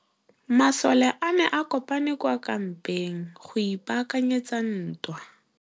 Masole a ne a kopane kwa kampeng go ipaakanyetsa ntwa.